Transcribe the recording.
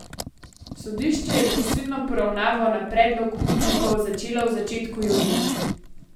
Sodišče je prisilno poravnavo na predlog upnikov začelo v začetku junija.